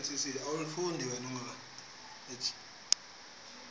uthe xa asazama